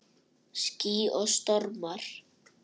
Ský og stormar